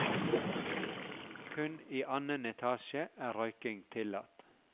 Kun i annen etasje er røyking tillatt.